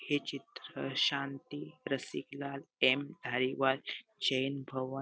हे चित्र शांती रसिकलाल एम धाईवाल जैन भवन --